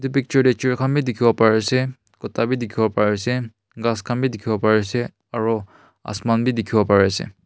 picture de tree kan b dikibo pari ase kuta b dikibo pari ase kas kan b dikibo pari ase aro asman b dikibo pari ase.